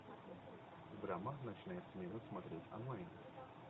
драма ночная смена смотреть онлайн